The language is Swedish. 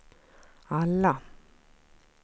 alla